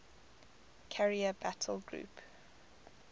carrier battle group